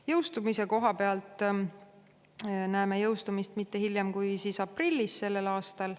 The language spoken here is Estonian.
Jõustumist näeme mitte hiljem kui aprillis sellel aastal.